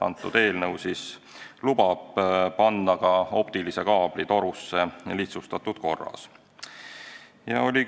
See eelnõu lubab ka optilise kaabli lihtsustatud korras torusse panna.